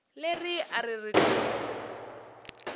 leri a ri ri ku